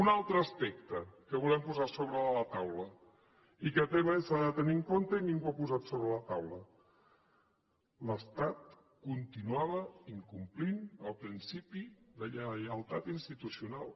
un altre aspecte que volem posar a sobre de la taula i que també s’ha de tenir en compte i ningú ha posat sobre la taula l’estat continuava incomplint el principi de lleialtat institucional